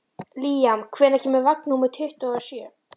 Líam, hvenær kemur vagn númer tuttugu og sjö?